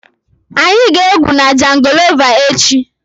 Anyị ga-egwu na jangolova echi.